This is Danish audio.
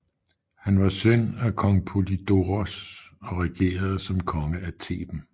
Han var søn af kong Polydoros og regerede som konge af Theben